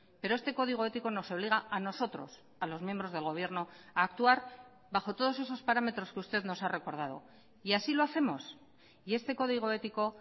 pero este código ético nos obliga a nosotros a los miembros del gobierno a actuar bajo todos esos parámetros que usted nos ha recordado y así lo hacemos y este código ético